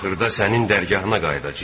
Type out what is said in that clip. Axırda sənin dərgahına qayıdacağıq.